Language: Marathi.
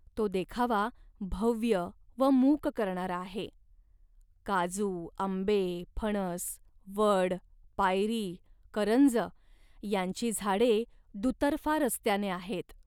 तो देखावा भव्य व मूक करणारा आहे. काजू, आंबे, फणस, वड, पायरी, करंज यांची झाडे दुतर्फा रस्त्याने आहेत